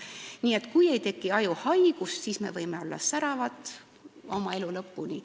Nii et kui ei teki ajuhaigust, siis me võime olla säravad elu lõpuni.